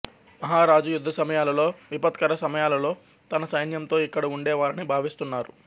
మహారాజు యుద్ధసమయాలలో విపత్కర సమయాలలో తన సైన్యంతో ఇక్కడ ఉండేవారని భావిస్తున్నారు